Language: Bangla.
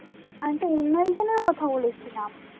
আমি তো অন্য একজনেরও কথা বলেছিলাম